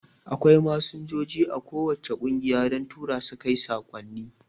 Akwai Masinjoji a ko wacce kungiya don Turasu kai saƙonni